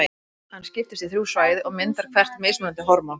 Hann skiptist í þrjú svæði og myndar hvert þeirra mismunandi hormón.